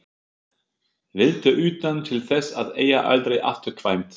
Viltu utan til þess að eiga aldrei afturkvæmt?